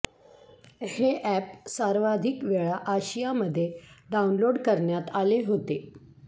हे अॅप सर्वाधिक वेळा आशियामध्ये डाऊनलोड करण्यात आले होते